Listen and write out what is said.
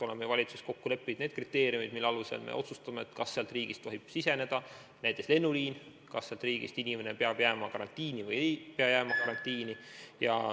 Oleme valitsuses kokku leppinud kriteeriumid, mille alusel me otsustame, kas teatud riigist tohib meile avada lennuliini, kas ühest või teisest riigist tulev inimene peab jääma karantiini või ei pea jääma karantiini.